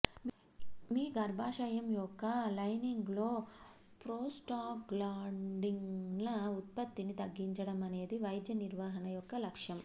మీ గర్భాశయం యొక్క లైనింగ్లో ప్రోస్టాగ్లాండిన్ల ఉత్పత్తిని తగ్గించడం అనేది వైద్య నిర్వహణ యొక్క లక్ష్యం